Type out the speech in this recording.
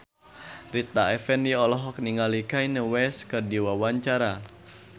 Rita Effendy olohok ningali Kanye West keur diwawancara